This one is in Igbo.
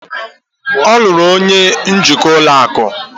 ọ lụrụ onye njikwa ụlọ akụ